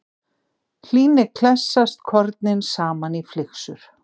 Hlýni klessast kornin saman í flyksur.